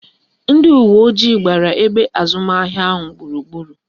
Ndị uwe ojii agbara ebe azụmahịa ahụ gburugburu?